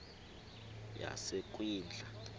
yasekwindla